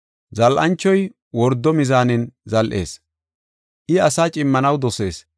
Zal7anchoy wordo mizaanen zal7ees; I asaa cimmanaw dosees.